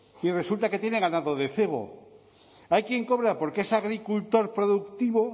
y resulta que tiene ganado de cebo hay quién cobra porque es agricultor productivo